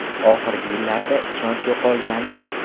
Oxirgi yillarda ishonch yo‘qolgandi.